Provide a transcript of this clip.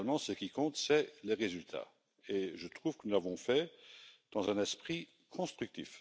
Finalement, ce qui compte, c'est le résultat et je trouve que nous l'avons fait dans un esprit constructif.